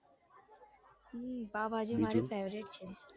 હમ pav bhaji favourite છે બીજું